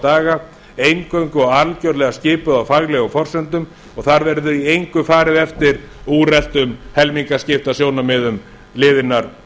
daga eingöngu og algerlega skipuð á faglegum forsendum og þar verður í engu farið eftir úreltum helmingaskiptasjónarmiðum liðinnar